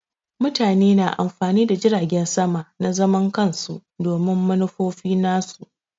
Mutane na amfani da jiragin sama na zaman kansu domin manufofi nasu.